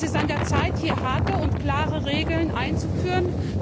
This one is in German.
Es ist an der Zeit, hier harte und klare Regeln einzuführen!